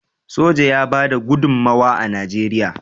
soja ya bada gudummawa a najeriya